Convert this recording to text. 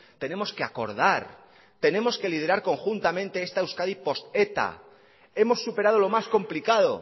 tenemos que acordar tenemos que liderar conjuntamente esta euskadi post eta hemos superado lo más complicado